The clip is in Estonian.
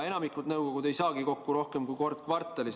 Enamik nõukogusid ei saa kokku rohkem kui kord kvartalis.